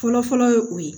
Fɔlɔfɔlɔ ye o ye